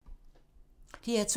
DR2